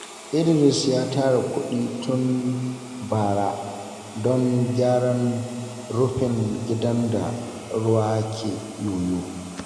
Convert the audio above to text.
Idris ya tara kuɗi tun bara don gyaran rufin gidan da ruwa ke yoyo.